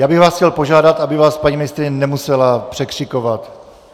Já bych vás chtěl požádat, aby vás paní ministryně nemusela překřikovat.